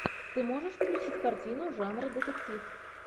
ты можешь включить картину жанра детектив